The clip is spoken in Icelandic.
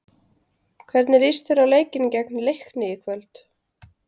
Hvernig líst þér á leikinn gegn Leikni í kvöld?